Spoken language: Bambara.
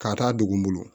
K'a taa dugu bolo